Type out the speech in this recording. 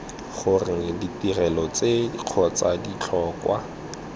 gore ditirelo tse kgotsa ditlhokwa